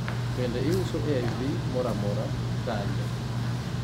bende iuso AIV mora amora, kanye